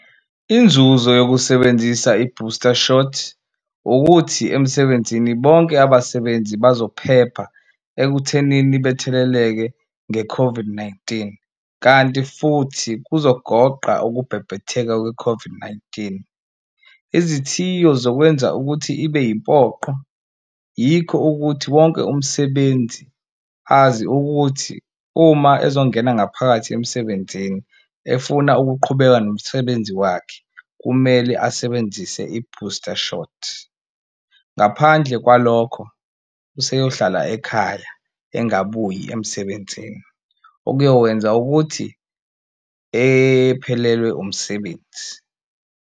Inzuzo yokusebenzisa i-booster shot ukuthi emsebenzini bonke abasebenzi bazophepha ekuthenini betheleleke nge-COVID-19 kanti futhi kuzogoqa ukubhebhetheka kwe-COVID-19. Izithiyo zokwenza ukuthi ibe impoqo yikho ukuthi wonke umsebenzi azi ukuthi uma ezongena ngaphakathi emsebenzini efuna ukuqhubeka nomsebenzi wakhe kumele asebenzise i-booster shot, ngaphandle kwalokho useyohlala ekhaya engakabuyi emsebenzini, okuyokwenza ukuthi ephelelwe umsebenzi.